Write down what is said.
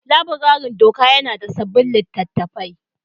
Laburaren doka yana da sabbin littattafai